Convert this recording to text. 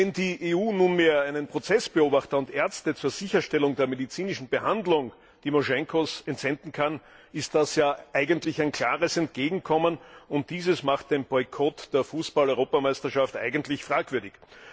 Wenn die EU nunmehr einen Prozessbeobachter und Ärzte zur Sicherstellung der medizinischen Behandlung Timoschenkos entsenden kann, ist das ja eigentlich ein klares Entgegenkommen, und dieses macht den Boykott der Fußball Europameisterschaft eigentlich fragwürdig.